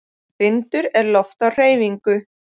Vindur er loft á hreyfingu.